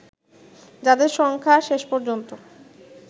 যাদের সংখ্যা শেষ পর্যন্ত